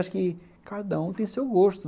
Acho que cada um tem seu gosto.